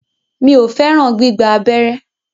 Mi o fẹràn gbígba abẹ́rẹ́.